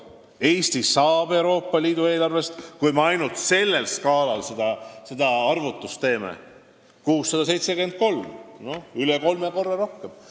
Aga Eesti sai Euroopa Liidu eelarvest, kui me ainult seda skaalat silmas pidades arvutuse teeme, 673 miljonit ehk üle kolme korra rohkem.